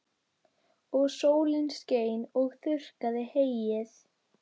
Og sólin skein og þurrkaði heyið.